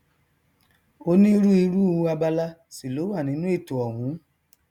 onírúirú abala sì ló wà nínú ètò ọhún